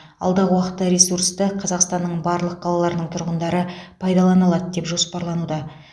алдағы уақытта ресурсты қазақстанның барлық қалаларының тұрғындары пайдалана алады деп жоспарлануда